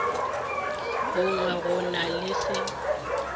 bongwe go na le se